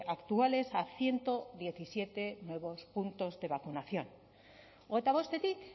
actuales a ciento diecisiete nuevos puntos de vacunación hogeita bostetik